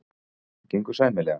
Það gengur sæmilega.